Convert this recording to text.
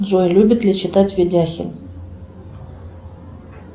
джой любит ли читать видяхин